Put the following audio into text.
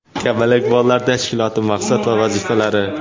"Kamalak" bolalar tashkiloti maqsad va vazifalari.